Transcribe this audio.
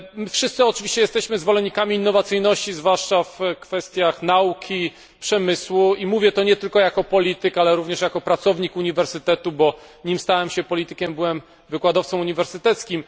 Wszyscy oczywiście jesteśmy zwolennikami innowacyjności, zwłaszcza w kwestiach nauki, przemysłu i mówię to nie tylko jako polityk, ale również jako pracownik uniwersytetu, bo nim stałem się politykiem, byłem wykładowcą uniwersyteckim.